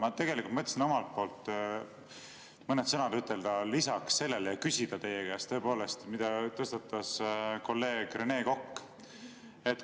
Ma tegelikult mõtlesin omalt poolt mõned sõnad lisaks ütelda ja küsida teie käest selle teema kohta, mille tõstatas kolleeg Rene Kokk.